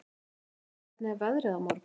Sólín, hvernig er veðrið á morgun?